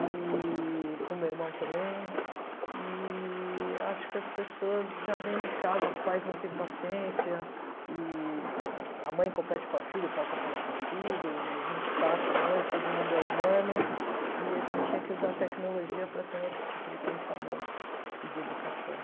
eee com o meu irmão também, eee acho que as pessoas já dentro de casa, os pais não têm paciência, eee a mãe compete com a filha, o pai compete com o filho, a gente passa mesmo, todo mundo é humano, e a gente tinha que usar a tecnologia para ter um outro tipo de pensamento e de educação.